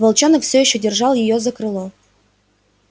волчонок все ещё держал её за крыло